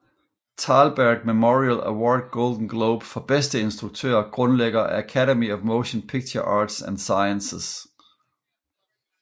Thalberg Memorial Award Golden Globe for bedste instruktør Grundlægger af Academy of Motion Picture Arts and Sciences